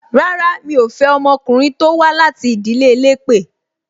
Rárá, mi ò fẹ́ ọmọkùnrin tó wá láti ìdílé elépè